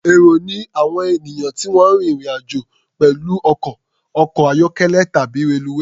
Èrò ni àwọn ènìyàn tí wọ́n ń rín ìrìn-àjò pẹ̀lú ọkọ̀, ọkọ̀-ayọ́kẹ́lẹ̀ tàbí reluwé.